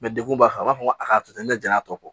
dekun b'a kan u b'a fɔ ko a ka to ten ne ja y'a tɔ